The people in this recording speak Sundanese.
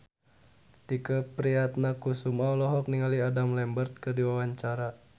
Tike Priatnakusuma olohok ningali Adam Lambert keur diwawancara